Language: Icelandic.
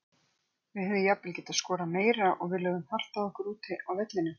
Við hefðum jafnvel getað skorað meira og við lögðum hart að okkur úti á vellinum.